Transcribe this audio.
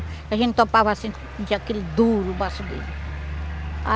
A gente topava assim sentia aquilo duro o baço dele.